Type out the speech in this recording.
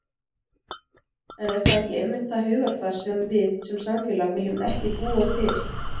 En er það ekki einmitt það hugarfar sem við sem samfélag viljum ekki búa til?